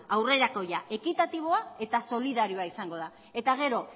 aurrerakoia ekitatiboa eta solidarioa izango da eta gero